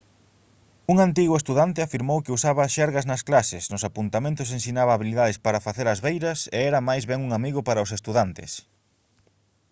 un antigo estudante afirmou que «usaba xerga nas clases nos apuntamentos ensinaba habilidades para facer as beiras e era máis ben un amigo para os estudantes»